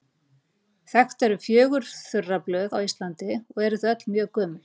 Þekkt eru fjögur þurraböð á Íslandi, og eru þau öll mjög gömul.